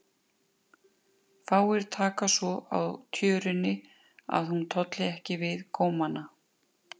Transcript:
Fáir taka svo á tjörunni að hún tolli ekki við gómana.